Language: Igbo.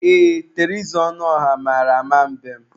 Ee, Teresa Ọnụọrah mara ama mbem.